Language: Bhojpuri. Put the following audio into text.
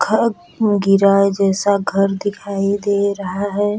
घ गिरा जैसा घर दिखाई दे रहा है।